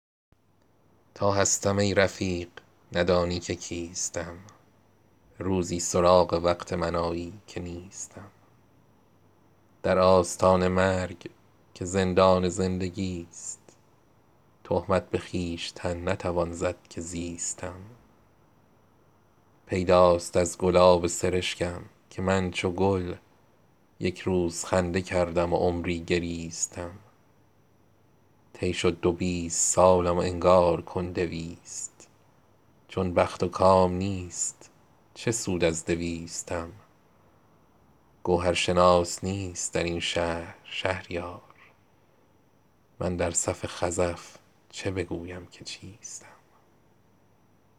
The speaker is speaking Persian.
تا هستم ای رفیق ندانی که کیستم روزی سراغ وقت من آیی که نیستم در آستان مرگ که زندان زندگیست تهمت به خویشتن نتوان زد که زیستم پیداست از گلاب سرشکم که من چو گل یک روز خنده کردم و عمری گریستم طی شد دو بیست سالم و انگار کن دویست چون بخت و کام نیست چه سود از دویستم خود مدعی که نمره انصاف اوست صفر در امتحان صبر دهد نمره بیستم گر آسمان وظیفه شاعر نمی دهد گو نام هم به خفیه بلیسد ز لیستم سرباز مفت این همه درجا نمی زند سرهنگ گو ببخش به فرمان ایستم گوهرشناس نیست در این شهر شهریار من در صف خزف چه بگویم که چیستم